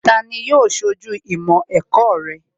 Tani yóò ṣojú ìmọ̀ ẹ̀kọ́ rẹ?